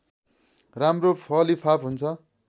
राम्रो फलिफाप हुन्छ